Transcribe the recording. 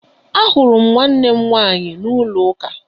Ahụrụ m nwannem nwaanyị n'ụlọ uka